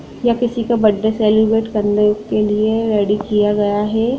यह किसी का बर्थडे सेलिब्रेट करने के लिए रेडी किया गया है।